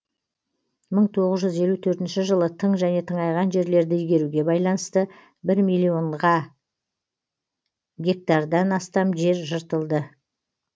мың тоғыз жүз елу төртінші жылы тың және тыңайған жерлерді игеруге байланысты бір миллион гектардан астам жер жыртылды